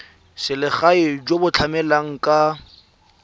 selegae jo bo tlamelang ka